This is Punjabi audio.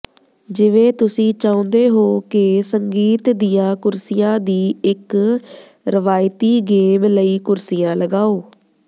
ਜਿਵੇਂ ਤੁਸੀਂ ਚਾਹੁੰਦੇ ਹੋ ਕਿ ਸੰਗੀਤ ਦੀਆਂ ਕੁਰਸੀਆਂ ਦੀ ਇੱਕ ਰਵਾਇਤੀ ਗੇਮ ਲਈ ਕੁਰਸੀਆਂ ਲਗਾਓ